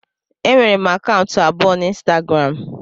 Enwere m akaụntụ abụọ na ịnstagram